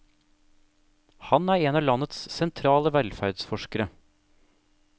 Han er en av landets sentrale velferdsforskere.